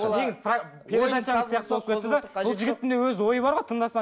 передача сияқты болып кетті де бұл жігіттің де өз ойы бар ғой